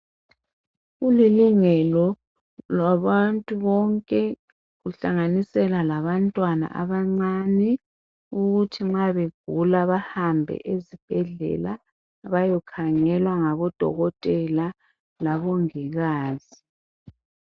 Kuli lungelo labantu bonke kuhlanganisela labantwana abancane ukuthi nxa begula bahambe ezibhedlela bayekhangelwa ngabodokotela labongikazi